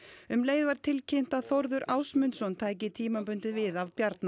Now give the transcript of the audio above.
um leið var tilkynnt að Þórður Ásmundsson tæki tímabundið við af Bjarna